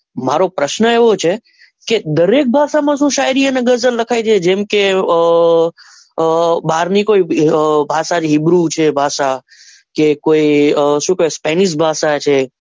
મારો પ્રશ્ન એવો છે કે દરેક ભાષા માં શું શાયરી અને ગઝલ લખાય છે કજેમ કે અ અ hebrew છે ભાષા કે શું છે spanish ભાષા માં છે.